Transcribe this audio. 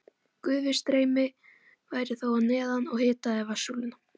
Gufustreymi væri þó að neðan og hitaði vatnssúluna.